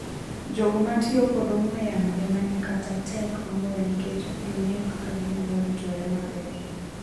Jogo matio kod ong'we yamo ema nikata tek moloyo nikech okging'eyo kaka ginyalo ritore maber.